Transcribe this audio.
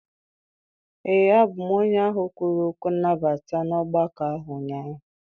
Ee, abụ m onye ahụ kwuru okwu nnabata na ogbako ahụ ụnyaahụ.